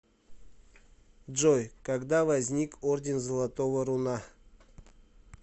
джой когда возник орден золотого руна